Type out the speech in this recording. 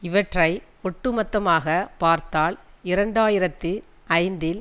இவற்றை ஒட்டுமொத்தமாக பார்த்தால் இரண்டு ஆயிரத்தி ஐந்தில்